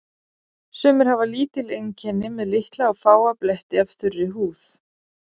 Sumir hafa lítil einkenni með litla og fáa bletti af þurri húð.